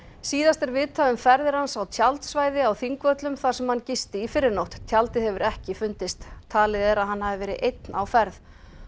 síðast er vitað um ferðir hans á tjaldsvæði á Þingvöllum þar sem hann gisti í fyrrinótt tjaldið hefur ekki fundist talið er að hann hafi verið einn á ferð